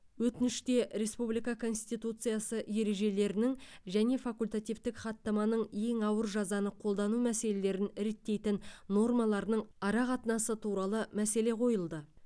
өтініште республика конституциясы ережелерінің және факультативтік хаттаманың ең ауыр жазаны қолдану мәселелерін реттейтін нормаларының арақатынасы туралы мәселе қойылды